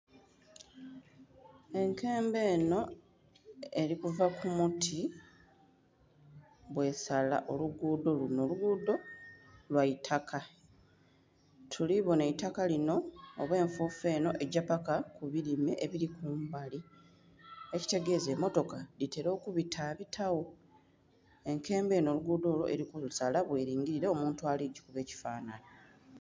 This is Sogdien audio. Enkembo enho eli kuva ku muti, bwesala oluguudho lunho. Olugudho, lwaitaka tuli bonho eitaka linho oba enfufu enho egya paka ku bilime ebili kumbali, ekitegeza emotoka dhitela okubitabitagho. enkembo enho oluguudo olwo eli ku lusaala bwelingilila omuntu ali kugikuba ekifanhanhi.